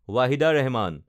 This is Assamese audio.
ৱাহিদা ৰেহমান